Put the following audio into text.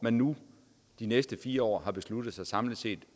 har nu de næste fire år besluttet sig for samlet set